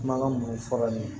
Kumakan minnu fɔra nin ye